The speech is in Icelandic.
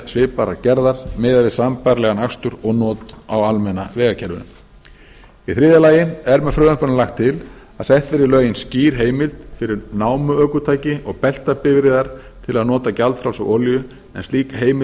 svipaðrar gerðar miðað við sambærilegan akstur og not á almenna vegakerfinu í þriðja lagi er með frumvarpinu lagt til að sett verið í lögin skýr heimild fyrir námuökutæki og beltabifreiðar til að nota gjaldfrjálsa olíu en slík heimild er